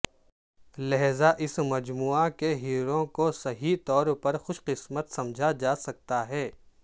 لہذا اس مجموعہ کے ہیرووں کو صحیح طور پر خوش قسمت سمجھا جا سکتا ہے